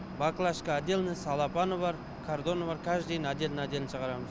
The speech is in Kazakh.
баклашка отдельно целлофаны бар картоны бар каждыйын отдельно отдельно шығарамыз